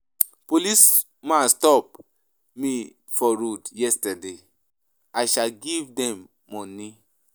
Policemen stop me for road yesterday, I sha give dem money.